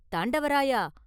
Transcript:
“தாண்டவராயா!